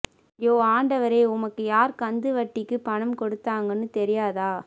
யோவ் ஆண்டவரே உமக்கு யார் கந்து வட்டிக்கு பணம் கொடுத்தாங்கனு தெரியாத